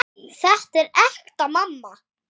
Þetta er ekta mamma!